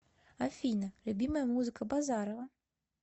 афина любимая музыка базарова